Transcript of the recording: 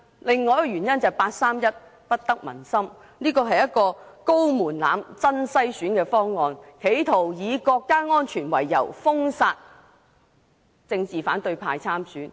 另一個原因就是八三一決定不得民心，設下高門檻，是真篩選的方案，企圖以國家安全為由，封殺反對派參選。